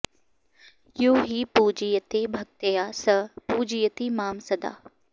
यो हि पूजयते भक्त्या स पूजयति मां सदा